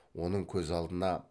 оның көз алдына